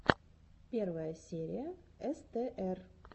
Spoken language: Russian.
первая серия эстээр